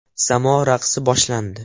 Samo raqsi boshlandi.